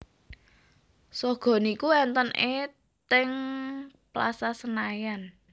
Sogo niku enten e teng Plaza Senayan